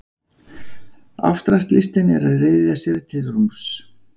Afstraktlistin er að ryðja sér til rúms.